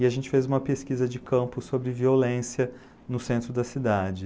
E a gente fez uma pesquisa de campo sobre violência no centro da cidade.